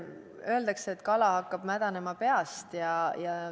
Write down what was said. Öeldakse, et kala hakkab mädanema peast.